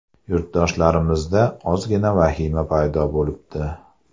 Yurtdoshlarimizda ozgina vahima paydo bo‘libdi.